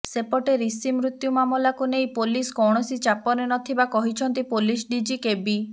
ସେପଟେ ରିଷି ମୃତ୍ୟୁ ମାମଲାକୁ ନେଇ ପୋଲିସ କୌଣସି ଚାପରେ ନଥିବା କହିଛନ୍ତି ପୋଲିସ ଡିଜି କେବି